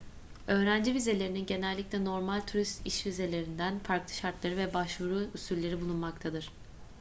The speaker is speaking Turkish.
öğrenci vizelerinin genellikle normal turist ve iş vizelerinden farklı şartları ve başvuru usülleri bulunmaktadır